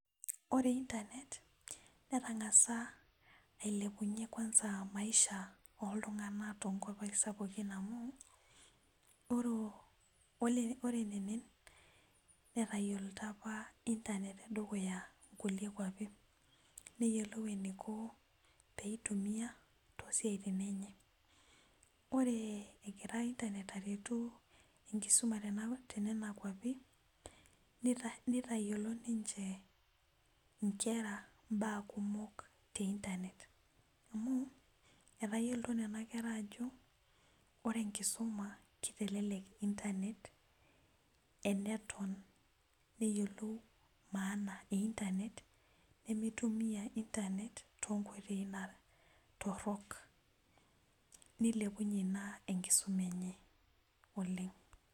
Ore internet netangasa ailepunye maisha oltunganak tonkwapi sapukin amu ore eneng metayioloto apa internet tedukuya nkukie kwapi neyiolou enkiko peitimia tosiatin enye ore egira internet aretu enkumisuma tononkwapi nitayiolo ninche nkera mbaa kumok the internet etayioloto nona kera ajo ore enkisuma kitelek enkisuma amu eneton nayiolou maana internet nemeitumia internet tonkoitoi torok nilepunye ina enkisuma enye oleng.